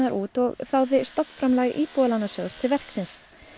út og þáði stofnframlag Íbúðalánasjóðs til verksins